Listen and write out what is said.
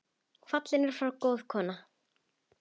Fallin er frá góð kona.